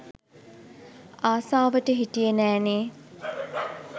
ආසාවට හිටියේ නෑනේ